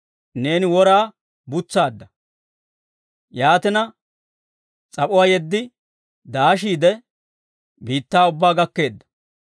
Neeni woraa butsaadda; yaatina, s'ap'uwaa yeddi daashiide, biittaa ubbaa gakkeedda.